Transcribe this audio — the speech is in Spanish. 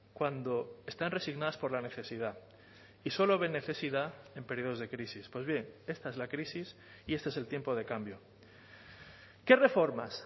cuando están resignadas por la necesidad y solo ven necesidad en períodos de crisis pues bien esta es la crisis y este es el tiempo de cambio qué reformas